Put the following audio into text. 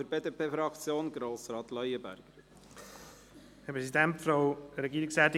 für die BDP-Fraktion: Grossrat Leuenberger.